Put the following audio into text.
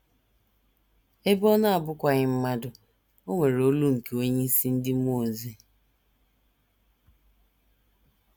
Ebe ọ na - abụkwaghị mmadụ, o nwere olu nke onyeisi ndị mmụọ ozi.